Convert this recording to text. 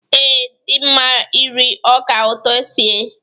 Ee, dị mma iri ọka ụtọ sie.